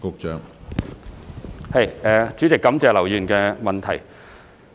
主席，感謝劉議員的質詢。